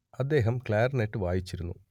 അദ്ദേഹം ക്ലാർനെറ്റ് വായിച്ചിരുന്നു